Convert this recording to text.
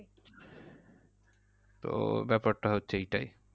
তো ব্যাপারটা হচ্ছে এইটাই।